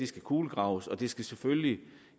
skal kulegraves og det skal selvfølgelig